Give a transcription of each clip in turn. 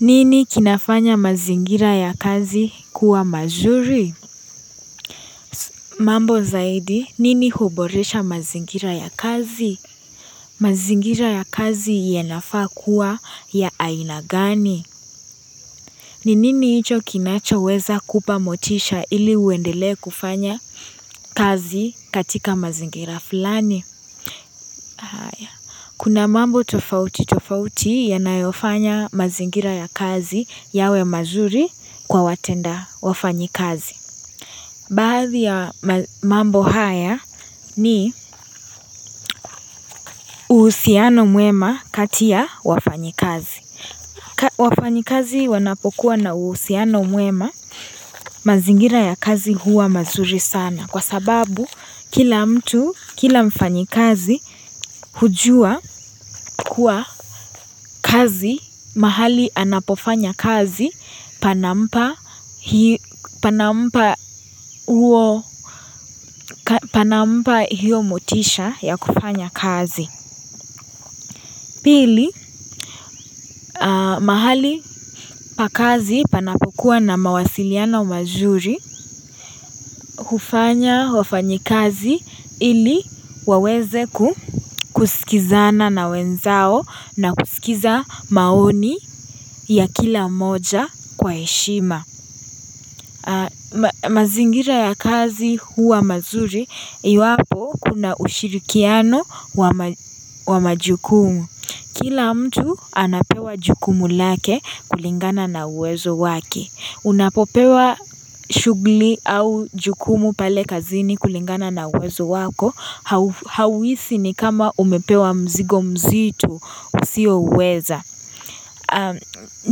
Nini kinafanya mazingira ya kazi kuwa mazuri? Mambo zaidi nini huboresha mazingira ya kazi. Mazingira ya kazi yanafaa kuwa ya aina gani? Ni nini hicho kinachoweza kupa motisha ili uendelee kufanya kazi katika mazingira fulani? Kuna mambo tofauti tofauti yanayofanya mazingira ya kazi yawe mazuri kwa watenda wafanyikazi. Baadhi ya mambo haya ni uhusiano mwema kati ya wafanyikazi. Wafanyikazi wanapokuwa na uhusiano mwema mazingira ya kazi huwa mazuri sana. Kwa sababu kila mtu, kila mfanyikazi hujua kuwa kazi, mahali anapofanya kazi panampa panampa hiyo motisha ya kufanya kazi. Pili, mahali pa kazi panapokuwa na mawasiliano mazuri, hufanya wafanyikazi ili waweze kusikizana na wenzao na kusikiza maoni ya kila mmoja kwa heshima. Mazingira ya kazi huwa mazuri, iwapo kuna ushirikiano wa majukumu. Kila mtu anapewa jukumu lake kulingana na uwezo wake. Unapopewa shughuli au jukumu pale kazini kulingana na uwezo wako, hauhisi ni kama umepewa mzigo mzitu usiouweza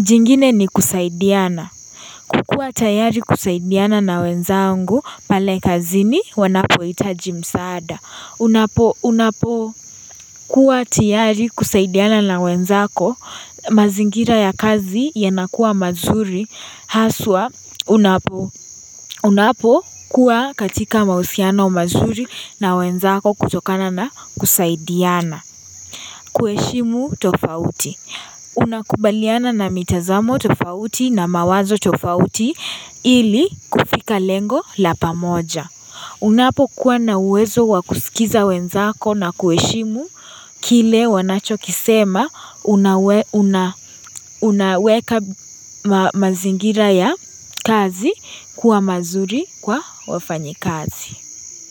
jingine ni kusaidiana. Kukuwa tayari kusaidiana na wenzangu pale kazini wanapohitaji msaada Unapo kuwa tiyari kusaidiana na wenzako mazingira ya kazi yanakuwa mazuri haswa unapokuwa katika mahusiano mazuri na wenzako kutokana na kusaidiana. Kuheshimu tofauti, unakubaliana na mitazamo tofauti na mawazo tofauti ili kufika lengo la pamoja Unapokuwa na uwezo wa kusikiza wenzako na kuheshimu kile wanachokisema unaweka mazingira ya kazi kuwa mazuri kwa wafanyi kazi.